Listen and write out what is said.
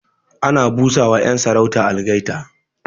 Ana bu sa ma 'yan sarauta algaita